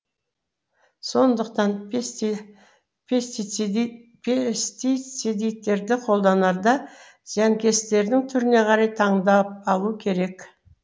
сондықтан пестицидтерді қолданарда зиянкестердің түріне қарай таңдап алу керек